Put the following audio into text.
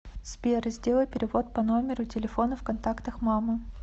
сбер сделай перевод по номеру телефона в контактах мама